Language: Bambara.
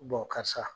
karisa